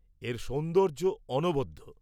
এর সৌন্দর্য অনবদ্য।